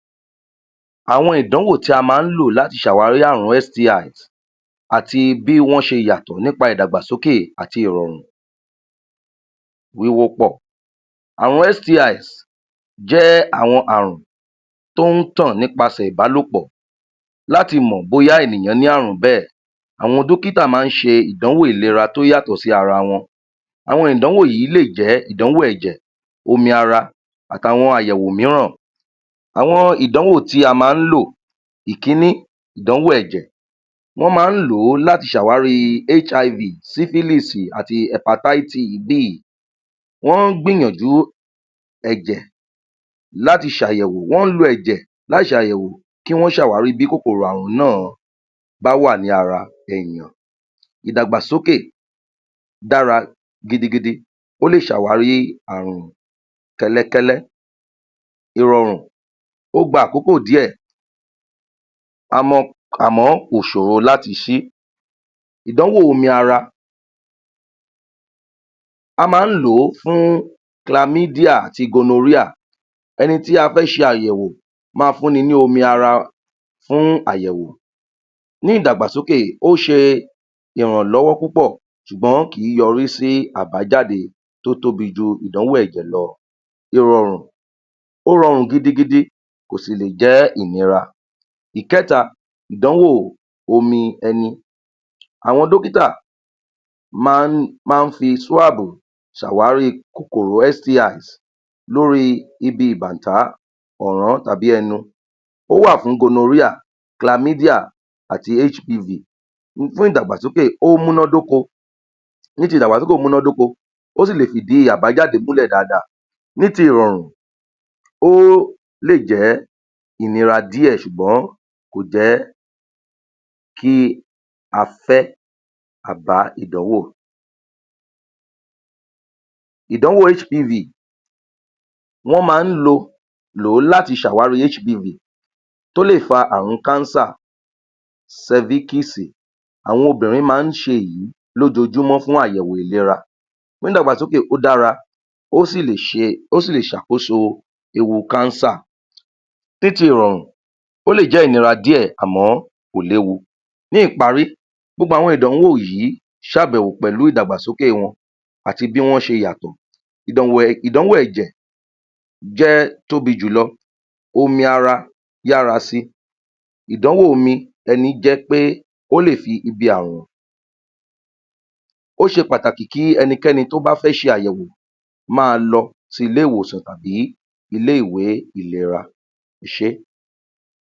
Àwọn ìdánwò tí a máa ń lò láti ṣàwárí àrùn, àti bí wọ́n ṣe yàtọ̀ nípa ìdàgbàsókè àti ìrọ̀rùn. Wíwòpọ̀ àrùn STIs jẹ́ àwọn àrùn tó ń tàn nípasẹ̀ ìbálòpò Láti mọ̀ bóyá ènìyàn ní àrùn bẹ́è, Àwọn dókítà máa ń ṣe ìdánwò ìlera tó yàtọ̀ sí ara wọn Àwọn ìdánwò yìí lè jẹ́ ìdánwò ẹ̀jè, omi ara àti àwọn àyèwò míìran. Àwọn ìdánwò tí a máa ̣ń lò, Ìkínní ìdánwò èjẹ̀, wọ́n máa ń lo láti ṣe àwárí HIV, SYPHILIS àti HEPATITIS B. wọ́n gbìyànjú ẹ̀jẹ̀ láti ṣàyẹ̀wò, wọ́n lo ẹ̀jẹ̀ láti ṣàyẹ̀wò kí wọ́n ṣàwárí bí kòkòrò àrùn náà bá wà ní ara, ènìyàn ìdàgbàsókè dára gidigidi, ó lè ṣàwárí àrùn kẹ́lẹ́kẹ́lẹ́, ìrọ̀rùn ó gba àkókò díẹ̀ àmọ́ àmọ́ kò ṣòro láti ṣe. Ìdánwò omi ara; a máá ń lo fún clamidia ati gonorrhea, ẹni tí a fẹ́ ṣàyẹ̀wò ma fún ni ní omi ara fún àyẹ̀wò. Ní ìdàgbàsókè, ó ṣe ìrànlọ́wọ́ púpọ̀ ṣùgbọ́n kì í yọrí ́sí àbájáde tó tóbi ju ìdánwò ẹ̀jẹ̀ lọ. Ìrọ̀rùn, ó rọrùn gidigidi, kò sì lè jẹ́ ìnira. Ìkẹta, ìdánwò omi ẹni; Àwọn dọ́kítà máá ń máá ń fi swabu ṣàwárí kòkòrò STI lórí ibi ìbánta tàbí ẹnu, ó wà fún gonorrhea ,clamidia ati HPV fún ìdàgbàsókè o múna dóko. ní ti ìdàgbàsókè ó múná dóko, ó sì lè fidi àbájáde múlè dáadáa. Ní ti ìrọ̀rùn, ó lè jẹ́ ìnira díẹ̀ ṣùgbọ́n kò jẹ́ kí a fẹ́ àbá ìdánwò. Ìdánwò hpv,wọ́n máá ń lò láti ṣàwárí hpv tó lè fa àrùn cancer. servisi àwọn obìnrin màà ń ṣe èyí lójoojúmọ fún àyẹ̀wò ìlera. Ní ìdàgbàsókè, ó dára, ó sì lè ṣàkóso ewu cancer. Ní ti ìrọ̀rùn, ó lè jẹ́ ìnira díẹ̀ àmọ́ kò léwu. Ní ìparí, gbogbo àwọn ìdánwò yìí ṣe àbẹ̀wò pẹ̀lú ìdàgbàsókè wọn àti bí wọ́n ṣe yàtọ̀. ìdánwò ẹ̀jẹ̀ jẹ́ tóbi jùlọ, omi ara yára si.. Ìdánwò omi ẹní jẹ́ pé o lè fi ibi àwọ̀n. Ó ṣe pàtàkì kí ẹnikẹ́ni tí ó bá fẹ́ ṣe àyẹ̀wò tí ó bá fẹ́ ṣe àyẹ̀wò maa lọ sí ilé ìwòsàn tàbí ilé iwe ìlera ẹṣé.